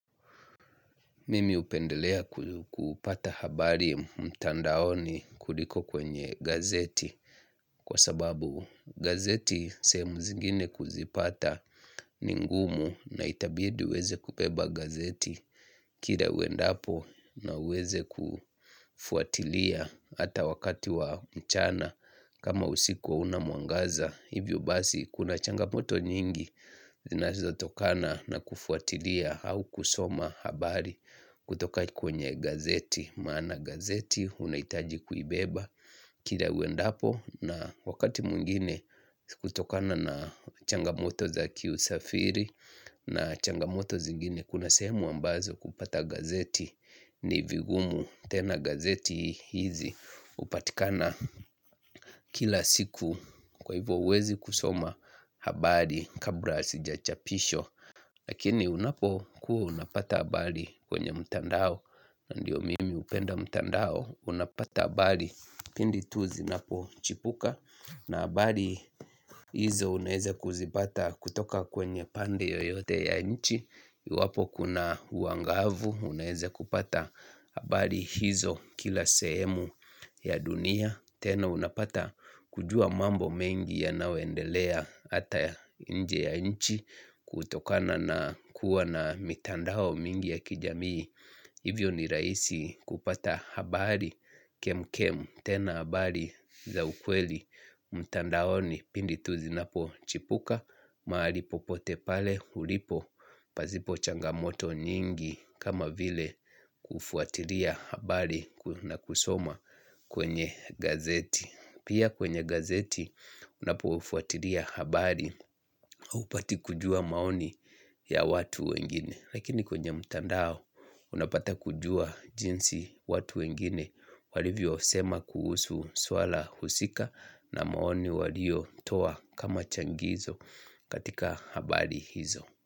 Mimi hupendelea kupata habari mtandaoni kuliko kwenye gazeti kwa sababu gazeti sehemu zingine kuzipata ni ngumu na itabidi uweze kubeba gazeti kila uendapo na uweze kufuatilia ata wakati wa mchana kama usikuwa hauna mwangaza. Hivyo basi kuna changamoto nyingi zinazotokana na kufuatilia au kusoma habari kutoka kwenye gazeti maana gazeti unahitaji kuibeba kila uendapo na wakati mwingine kutokana na changamoto za kiusafiri na changamoto zingine kuna sehemu ambazo kupata gazeti ni vigumu. Tena gazeti hizi hupatikana kila siku kwa hivyo huwezi kusoma habari kabra hasijachapisho lakini unapokuwa unapata habari kwenye mtandao ndiyo mimi hupenda mtandao unapata habari pindi tu zinapochipuka na habari hizo unaweza kuzipata kutoka kwenye pande yoyote ya nchi iwapo kuna uangavu, unaweza kupata habari hizo kila sehemu ya dunia tena unapata kujua mambo mengi yanaoendelea hata nje ya nchi kutokana na kuwa na mitandao mingi ya kijamii hivyo ni rahisi kupata habari kemkem tena habari za ukweli, mtandaoni pindi tu zinapochipuka mahali popote pale hulipo pasipo changamoto nyingi kama vile kufuatilia habari na kusoma kwenye gazeti pia kwenye gazeti unapofwatilia habari haupati kujua maoni ya watu wengine lakini kwenye mtandao unapata kujua jinsi watu wengine walivyo sema kuhusu swala husika na maoni waliotoa kama changizo katika habari hizo.